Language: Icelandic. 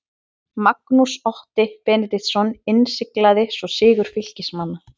Magnús Otti Benediktsson innsiglaði svo sigur Fylkismanna.